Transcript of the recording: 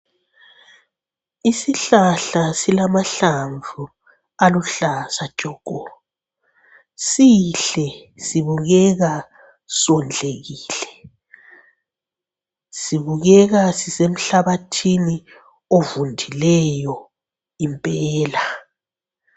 Isihlahla silamahlamvu aluhlaza tshoko. Sihle sibukeka sondlekile, sibukeka sisemhlabathini ovundileyo impela.